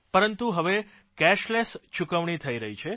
પરંતુ હવે કેશલેસ ચૂકવણી થઇ રહી છે